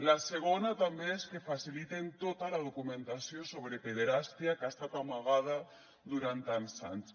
la segona també és que faciliten tota la documentació sobre pederàstia que ha estat amagada durant tants anys